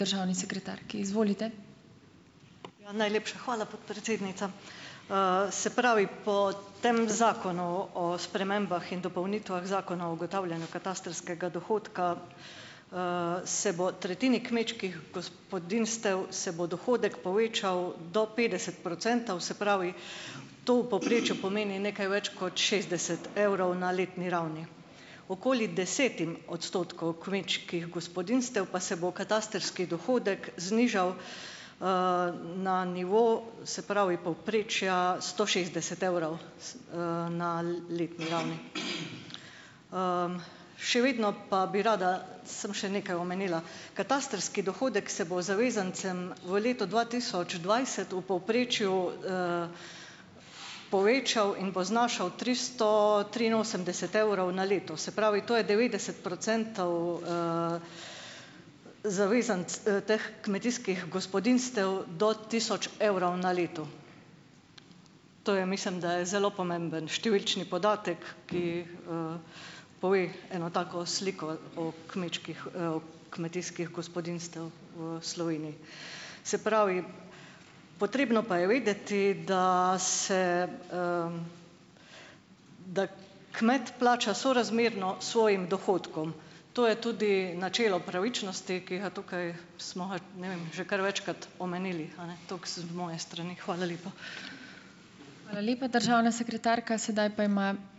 Najlepša hvala, podpredsednica. Se pravi, po tem zakonu o spremembah in dopolnitvah Zakona o ugotavljanju katastrskega dohodka se bo tretjini kmečkih gospodinjstev se bo dohodek povečal do petdeset procentov, se pravi, to v povprečju pomeni nekaj več kot šestdeset evrov na letni ravni. Okoli desetim odstotkom kmečkih gospodinjstev pa se bo katastrski dohodek znižal, na nivo, se pravi, povprečja sto šestdeset evrov na letni ravni. Še vedno pa bi rada samo še nekaj omenila. Katastrski dohodek se bo zavezancem v letu dva tisoč dvajset v povprečju povečal in bo znašal tristo triinosemdeset evrov na leto, se pravi, to je devetdeset procentov teh kmetijskih gospodinjstev do tisoč evrov na letu. To je mislim, da zelo pomemben številčni podatek, ki, pove eno tako sliko o kmečkih, o kmetijskih gospodinjstev v Sloveniji. Se pravi, potrebno pa je pa vedeti, da se, da kmet plača sorazmerno svojim dohodkom, to je tudi načelo pravičnosti, ki ga tukaj smo ga, ne vem, že kar večkrat omenili. Ene. Toliko s moje strani. Hvala lepa.